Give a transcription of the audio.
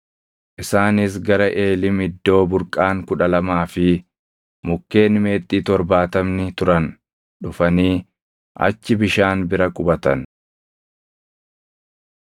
Isaanis gara Eelim iddoo burqaan kudha lamaa fi mukkeen meexxii torbaatamni turan dhufanii achi bishaan bira qubatan.